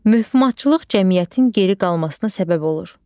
Möhumatçılıq cəmiyyətin geri qalmasına səbəb olur.